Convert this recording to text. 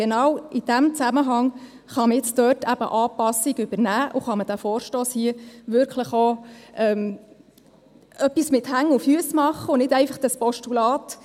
Genau in diesem Zusammenhang kann man jetzt dort eben Anpassungen vornehmen und mit diesem Vorstoss wirklich etwas machen, das Hand und Fuss hat, und nicht einfach ein Postulat.